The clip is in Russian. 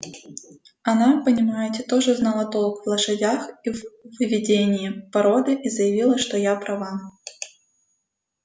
она понимаете тоже знала толк в лошадях и в выведении породы и заявила что я права